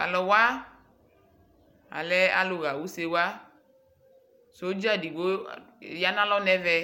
Taluwa, alɛ alu ɣa usewaSɔdza edigbo ya nalɔ nɛvɛ,